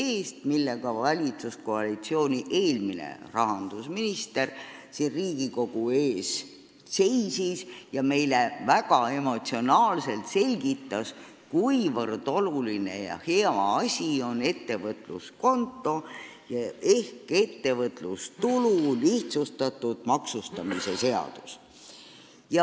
Sellega seisis siin Riigikogu ees valitsuskoalitsiooni eelmine rahandusminister, kes meile väga emotsionaalselt selgitas, kuivõrd oluline ja hea asi on ettevõtluskonto ehk ettevõtlustulu lihtsustatud maksustamise seadus.